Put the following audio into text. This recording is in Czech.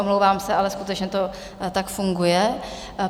Omlouvám se, ale skutečně to tak funguje.